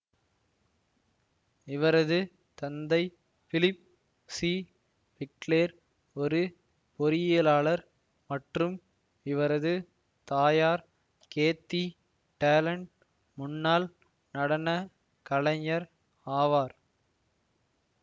இவரது தந்தை பிலிப் சிபிக்லேர் ஒரு பொறியியலாளர் மற்றும் இவரது தாயார் கேத்தி டேலண்ட் முன்னாள் நடன கலைஞர் ஆவார்